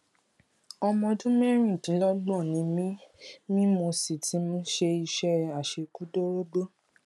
ọmọ ọdún mẹrìndínlọgbọn ni mí mí mo sì ti ṣe iṣẹ àṣekúdórógbó